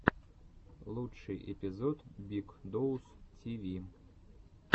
лучший эпизод биг доус ти ви